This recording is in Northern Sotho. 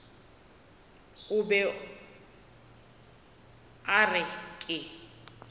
o be a re ke